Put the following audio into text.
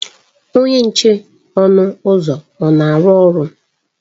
Onye nche ọnụ ụzọ na-arụ ọrụ?